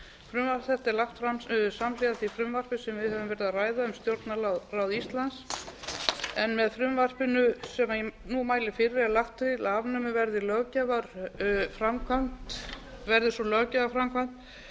frumvarp þetta er lagt fram samhliða því frumvarpi sem við höfum verið að ræða um stjórnarráð íslands með frumvarpinu sem ég nú mæli fyrir er lagt til að afnumið verði löggjafarframkvæmd verði sú löggjafarframkvæmd